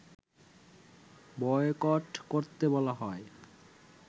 boycott করতে বলা হয়